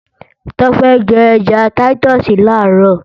Tọ́pẹ́ jẹ́ ẹja táítọ̀sì làárọ̀